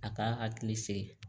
A k'a hakili sigi